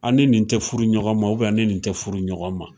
An ni nin te furu ɲɔgɔn ma ubiyɛn an ni ni te furu ɲɔgɔn ma